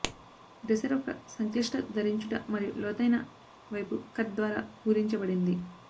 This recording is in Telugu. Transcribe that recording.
డ్రెసెర్ ఒక సంక్లిష్ట ధరించుట మరియు లోతైన వైపు కట్ ద్వారా పూరించబడింది